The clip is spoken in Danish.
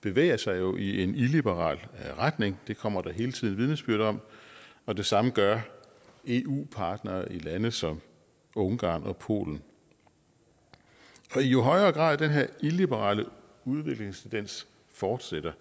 bevæger sig jo i en illiberal retning det kommer der hele tiden vidnesbyrd om og det samme gør eu partnere i lande som ungarn og polen og i jo højere grad den her illiberale udviklingstendens fortsætter